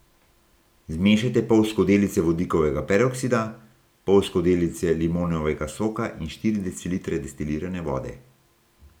Zmešajte pol skodelice vodikovega peroksida, pol skodelice limonovega soka in štiri decilitre destilirane vode.